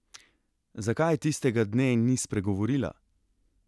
Zakaj tistega dne ni spregovorila?